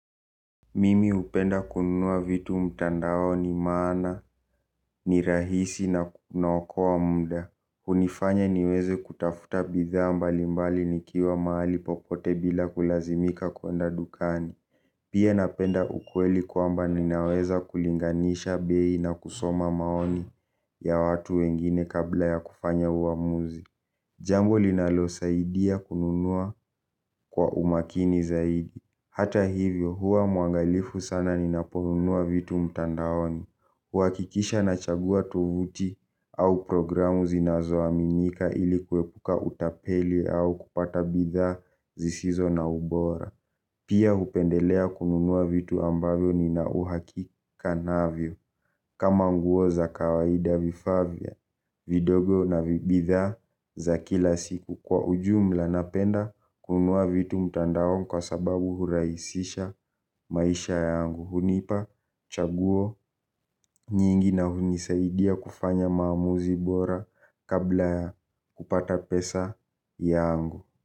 Mimi upenda kununua vitu mtandaoni maana, ni rahisi na kunaokowa munda. Unifanya niweze kutafuta bidhaa mbalimbali nikiwa maali popote bila kulazimika kuenda dukani. Pia napenda ukweli kwamba ninaweza kulinganisha bei na kusoma maoni ya watu wengine kabla ya kufanya uamuzi. Jambo linalo saidia kununua kwa umakini zaidi. Hata hivyo huwa mwaangalifu sana ni naponunua vitu mtandaoni. Huwakikisha na chagua tuvuti au programu zinazoaminika ilikuwepuka utapeli au kupata bidha zisizo na ubora. Pia hupendelea kununua vitu ambavyo ni na uhakika navyo. Kama nguo za kawaida vifaa vya, vidogo na bidhaa za kila siku. Kwa ujumla napenda kunua vitu mtandaon kwa sababu huraisisha maisha yangu. Hunipa chaguho nyingi na hunisaidia kufanya maamuzi bora kabla ya kupata pesa yangu.